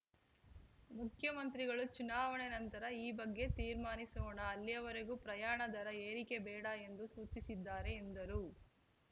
ಮುಖ್ಯಮಂತ್ರಿಗಳು ಚುನಾವಣೆ ನಂತರ ಈ ಬಗ್ಗೆ ತೀರ್ಮಾನಿಸೋಣ ಅಲ್ಲಿಯವರೆಗೂ ಪ್ರಯಾಣ ದರ ಏರಿಕೆ ಬೇಡ ಎಂದು ಸೂಚಿಸಿದ್ದಾರೆ ಎಂದರು